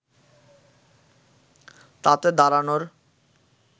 তাতে দাঁড়ানোর